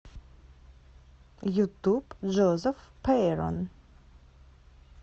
ютуб джозеф пейрон